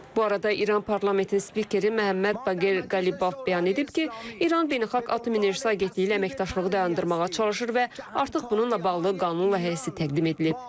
Bu arada İran parlamentinin spikeri Məhəmməd Baqir Qalibov bəyan edib ki, İran Beynəlxalq Atom Enerjisi Agentliyi ilə əməkdaşlığı dayandırmağa çalışır və artıq bununla bağlı qanun layihəsi təqdim edilib.